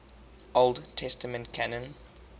old testament canon